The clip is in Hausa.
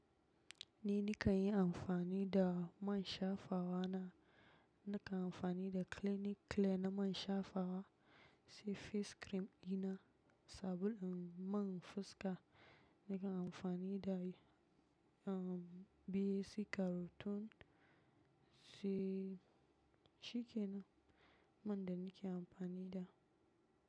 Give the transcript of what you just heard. Ni nikan yi amfani da man shafawa na, nakan amfani da Clinic Clear na man shafawa, sai face cream dina, sabulun man fuska nakan amfani da shi, umm bie sai karoton sai, shi kenan man da nike amfani da.